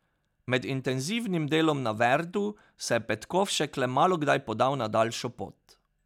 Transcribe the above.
Med intenzivnim delom na Verdu se je Petkovšek le malokdaj podal na daljšo pot.